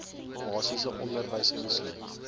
basiese onderwys insluit